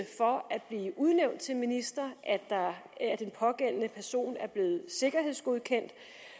blive udnævnt til minister at den pågældende person er blevet sikkerhedsgodkendt